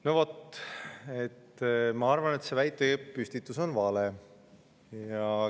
No vot, ma arvan, et see väite püstitus on vale.